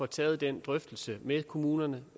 tage den drøftelse med kommunerne